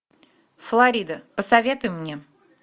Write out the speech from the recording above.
флорида посоветуй мне